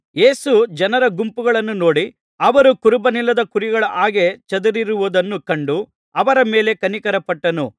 ಯೇಸು ಜನರ ಗುಂಪುಗಳನ್ನು ನೋಡಿ ಅವರು ಕುರುಬನಿಲ್ಲದ ಕುರಿಗಳ ಹಾಗೆ ಚದುರಿರುವುದನ್ನು ಕಂಡು ಅವರ ಮೇಲೆ ಕನಿಕರಪಟ್ಟನು